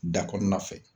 Da kɔnɔna fɛ